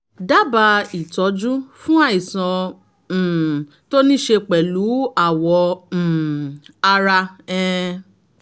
dábàá ìtọ́jú fún àìsàn um tó ní í ṣe pẹ̀lú àwọ̀ um ara um